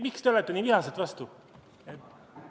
Miks te olete nii vihaselt vastu?